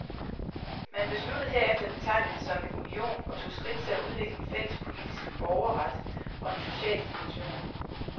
Man besluttede herefter at betegne det som en union og tog skridt til at udvikle en fælles politisk borgerret og en social dimension.